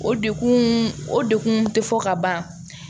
O degun o degun te fɔ ka ban